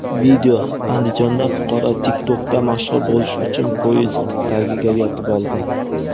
Video: Andijonda fuqaro TikTok’da mashhur bo‘lish uchun poyezd tagiga yotib oldi.